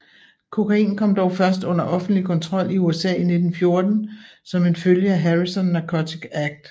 Kokain kom dog først under offentlig kontrol i USA i 1914 som en følge af Harrison Narcotic Act